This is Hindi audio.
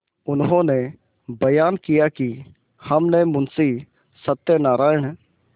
उन्होंने बयान किया कि हमने मुंशी सत्यनारायण